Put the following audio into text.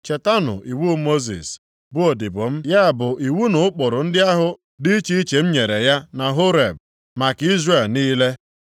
“Chetanụ iwu Mosis, bụ odibo m, ya bụ iwu na ụkpụrụ ndị ahụ dị iche iche m nyere ya na Horeb, maka Izrel niile.